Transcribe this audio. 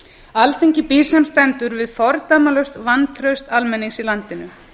alþingi býr sem stendur við fordæmalaust vantraust almennings í landinu